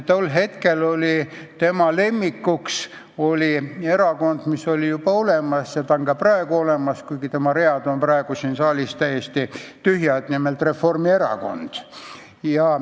Tol hetkel oli tema lemmikuks erakond, mis oli juba olemas ja on ka praegu olemas, kuigi selle read on praegu siin saalis täiesti tühjad, nimelt Reformierakond.